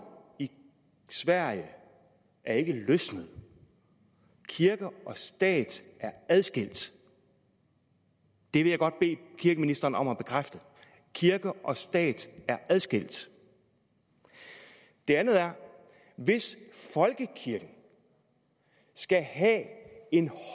i sverige er ikke løsnet kirke og stat er adskilt det vil jeg godt bede kirkeministeren om at bekræfte kirke og stat er adskilt det andet er hvis folkekirken skal have en